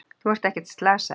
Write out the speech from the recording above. Þú ert ekkert slasaður.